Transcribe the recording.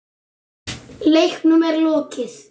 Leiknum er lokið.